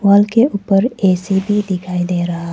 Wall के ऊपर AC भी दिखाई दे रहा है।